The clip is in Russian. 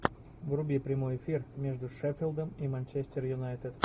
вруби прямой эфир между шеффилдом и манчестер юнайтед